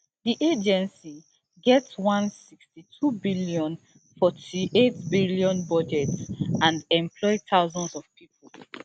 di agency get one sixty-twobn forty-eightbn budget and employ thousands of pipo